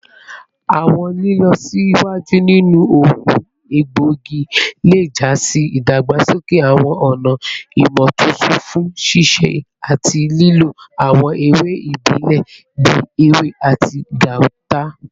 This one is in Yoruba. Awọn ilọsiwaju ninu oogun egboigi le ja si idagbasoke awọn ọna imotuntun fun sisẹ ati lilo awọn ewe ibile bii ewe ati gauta